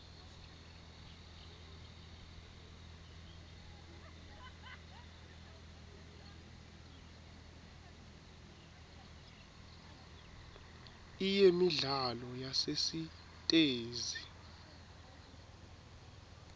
iyemidlalo yasesitesi